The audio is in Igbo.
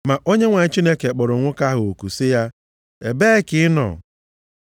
Ma Onyenwe anyị Chineke kpọrọ nwoke ahụ oku sị ya, “Ebee ka ị nọ?”